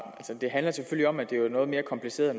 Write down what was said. det handler selvfølgelig om at det er noget mere kompliceret